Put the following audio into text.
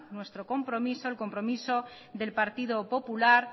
nuestro compromiso el compromiso del partido popular